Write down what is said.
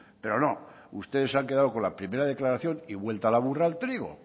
pero no ustedes se han quedado con la primera declaración y vuelta la burra al trigo